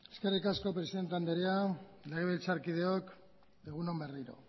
eskerrik asko presidente andrea legebiltzarkideok egun on berriro